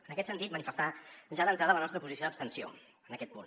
en aquest sentit manifestar ja d’entrada la nostra posició d’abstenció en aquest punt